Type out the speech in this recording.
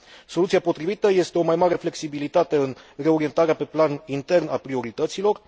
Soluția potrivită este o mai mare flexibilitate în reorientarea pe plan intern a priorităților.